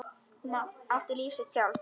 Hún átti sitt líf sjálf.